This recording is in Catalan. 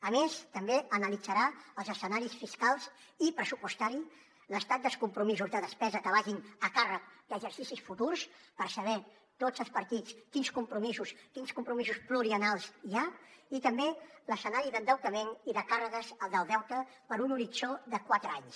a més també analitzarà els escenaris fiscals i pressupostaris l’estat dels compromisos de despesa que vagin a càrrec d’exercicis futurs per saber tots els partits quins compromisos pluriennals hi ha i també l’escenari d’endeutament i de càrregues del deute per a un horitzó de quatre anys